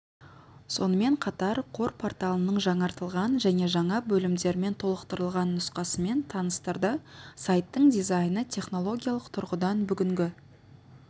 сонымен қатар қор порталының жаңартылған және жаңа бөлімдермен толықтырылған нұсқасымен таныстырды сайттың дизайны технологиялық тұрғыдан бүгінгі